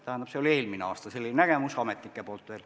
Selline oli veel eelmisel aastal ametnike nägemus.